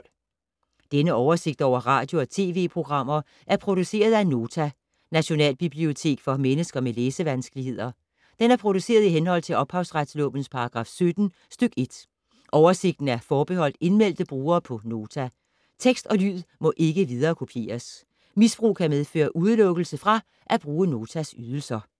Denne oversigt over radio og TV-programmer er produceret af Nota, Nationalbibliotek for mennesker med læsevanskeligheder. Den er produceret i henhold til ophavsretslovens paragraf 17 stk. 1. Oversigten er forbeholdt indmeldte brugere på Nota. Tekst og lyd må ikke viderekopieres. Misbrug kan medføre udelukkelse fra at bruge Notas ydelser.